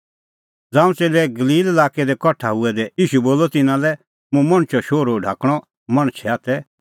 ज़ांऊं च़ेल्लै गलील लाक्कै तै कठा हुऐ दै ईशू बोलअ तिन्नां लै हुंह मणछो शोहरू ढाकणअ मणछे हाथै